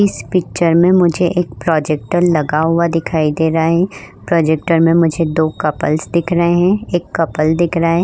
इस पिक्चर में मुझे एक प्रोजेक्टर लगा हुआ दिखाई दे रहा है। प्रोजेक्टर में मुझे दो कपल्स दिख रहा हैं एक कपल दिख रहा है।